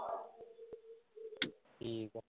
ਠੀਕ ਆ।